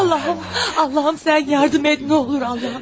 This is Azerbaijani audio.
Allahım, Allahım sən yardım et, nolar Allahım.